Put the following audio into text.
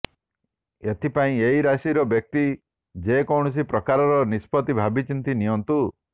ଏଥିପାଇଁ ଏହି ରାଶିର ବ୍ୟକ୍ତି ଯେକୌଣସି ପ୍ରକାରର ନିଷ୍ପତ୍ତି ଭାବିଚିନ୍ତି ନିଅନ୍ତୁ